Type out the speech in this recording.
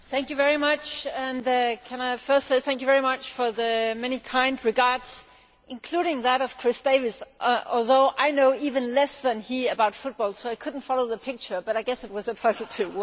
Mr President, can I first say thank you very much for the many kind comments, including those of Chris Davies, although I know even less than he about football so I could not follow the picture, but I guess it was a positive one!